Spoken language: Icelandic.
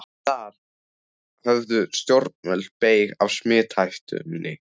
Þar höfðu stjórnvöld beyg af smithættunni.